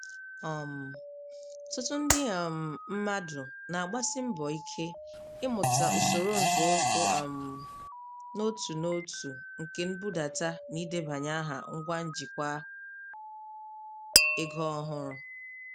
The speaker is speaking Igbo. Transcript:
um Ọtụtụ ndị um mmadụ na-agbasi mbọ ike ịmụta usoro nzọụkwụ um n'otu n'otu nke nbudata na ịdebanye aha ngwa njikwa ego ọhụrụ.